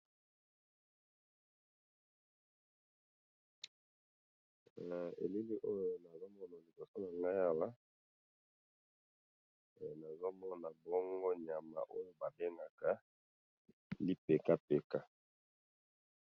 Awa na moni nyama bazo benga libeka beka.